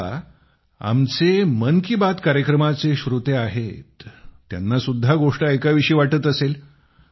आता आमचे जे मन की बात कार्यक्रमाचे श्रोते आहेत त्यांना सुद्धा गोष्ट ऐकावीशी वाटत असेल